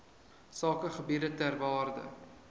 sakegebiede ter waarde